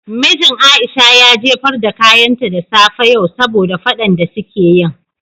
Mijin Aisha ya jefar da kayanta da safe yau saboda fadan de su ke yin.